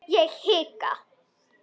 Ég hika.